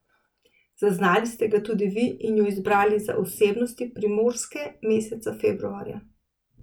Zaznali ste ga tudi vi in ju izbrali za osebnosti Primorske meseca februarja.